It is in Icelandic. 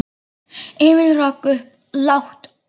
Emil rak upp lágt óp.